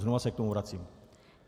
Znova se k tomu vracím.